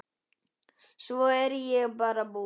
Svo er ég bara búin.